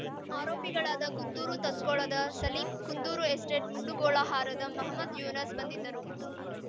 ಆರೋಪಿಗಳಾದ ಕುಂದೂರು ತತ್ಕೊಳದ ಸಲೀಂ ಕುಂದೂರು ಎಸ್ಟೇಟ್‌ ಮುಂಡುಗೋಳಹಾರದ ಮಹಮದ್‌ ಯೂನಸ್‌ ಬಂಧಿತರು